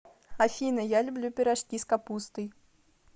афина я люблю пирожки с капустой